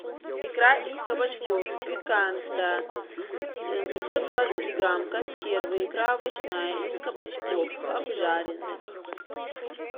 икра из кабачков пиканта пятьсот двадцать грамм консервы икра овощная из кабачков обжаренных